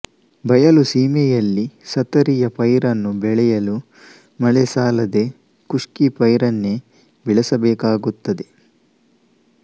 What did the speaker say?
ಬಯಲು ಸೀಮೆಯಲ್ಲಿ ಸತರಿಯ ಪೈರನ್ನು ಬೆಳೆಯಲು ಮಳೆ ಸಾಲದೆ ಖುಷ್ಕಿ ಪೈರನ್ನೇ ಬೆಳೆಸಬೇಕಾಗುತ್ತದೆ